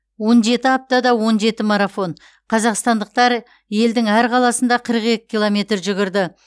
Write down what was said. он жеті аптада он жеті марафон қазақстандықтар елдің әр қаласында қырық екі километр жүгірді